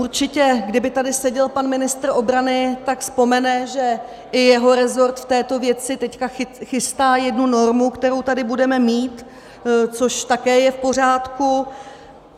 Určitě kdyby tady seděl pan ministr obrany, tak vzpomene, že i jeho resort v této věci teď chystá jednu normu, kterou tady budeme mít, což také je v pořádku.